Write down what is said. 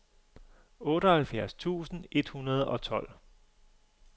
otteoghalvfjerds tusind et hundrede og tolv